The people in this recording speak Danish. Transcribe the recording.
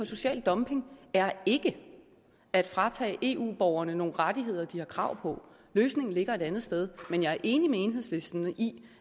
social dumping er ikke at fratage eu borgerne nogle rettigheder de har krav på løsningen ligger et andet sted men jeg er enig med enhedslisten i